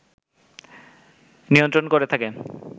নিয়ন্ত্রণ করে থাকে